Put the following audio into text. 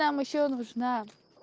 там ещё нужна